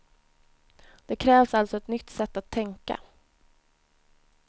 Det krävs alltså ett nytt sätt att tänka.